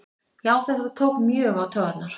Já þetta tók mjög á taugarnar